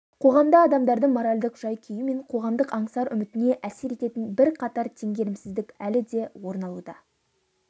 қоғамда адамдардың моральдық жай-күйі мен қоғамдық аңсар-үмітіне әсер ететін бірқатар теңгерімсіздік әлі де орын алуда